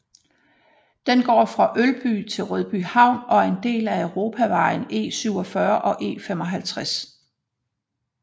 Den går fra Ølby til Rødbyhavn og er en del af europavejene E47 og E55